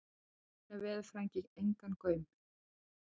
Jóni veðurfræðingi engan gaum.